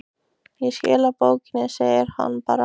Ég skila bókinni, segir hann bara.